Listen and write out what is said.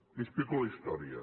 li explico la història